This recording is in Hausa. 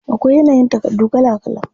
Akwai yanayin takardu kala kala.